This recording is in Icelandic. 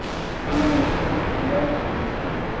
Hvernig muntu beita þér?